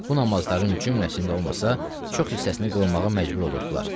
Bu namazların cümləsində olmasa, çox hissəsini qılmağa məcbur olurdular.